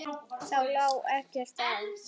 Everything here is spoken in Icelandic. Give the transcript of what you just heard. Þá lá ekkert á.